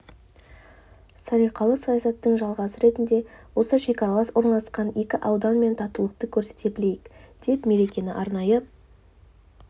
салиқалы саясатының жалғасы ретінде осы шекаралас орналасқан екі ауданмен татулықты көрсете білейік деп мерекені арнайы